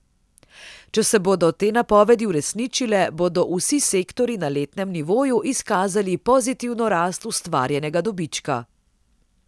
Če se bodo te napovedi uresničile, bodo vsi sektorji na letnem nivoju izkazali pozitivno rast ustvarjenega dobička.